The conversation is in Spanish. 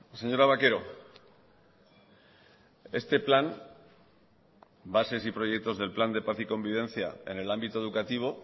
señora vaquero este plan bases y proyectos del plan de paz y convivencia en el ámbito educativo